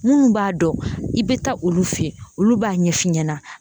Minnu b'a dɔn i bɛ taa olu fɛ yen olu b'a ɲɛfɔ i ɲɛna